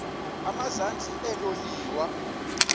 emazantsi elo liwa